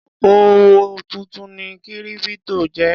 Òkòwò tuntun ni kírípítò jẹ́.